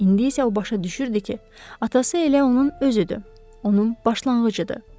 İndi isə o başa düşürdü ki, atası elə onun özüdür, onun başlanğıcıdır.